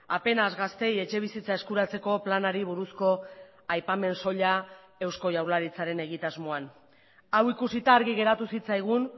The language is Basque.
apenas gazteei etxebizitza eskuratzeko planari buruzko aipamen soila eusko jaurlaritzaren egitasmoan hau ikusita argi geratu zitzaigun